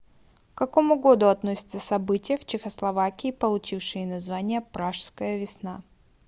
к какому году относятся события в чехословакии получившие название пражская весна